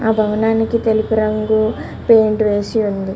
ఆ భవనానికి తెలుగు రంగు పెయింట్ వేసి ఉంది.